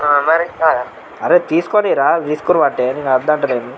అరె తీసుకొని రా